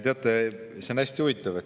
Teate, see on hästi huvitav.